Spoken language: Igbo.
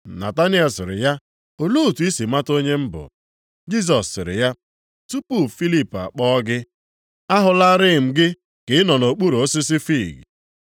Nataniel sịrị ya, “Olee otu i si mata onye m bụ?” Jisọs sịrị ya, “Tupu Filip akpọ gị, ahụlarị m gị ka ị nọ nʼokpuru osisi fiig.”